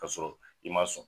K'a sɔrɔ i m maa sɔn